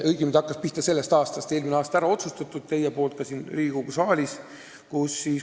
Õigemini see sai eelmine aasta ära otsustatud teie poolt siin Riigikogu saalis.